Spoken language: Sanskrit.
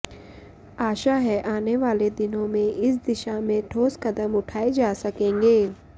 आशा है आने वाले दिनों में इस दिशा में ठोस कदम उठाये जा सकेंगें